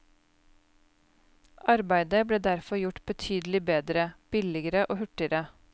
Arbeidet ble derfor gjort betydelig bedre, billigere og hurtigere.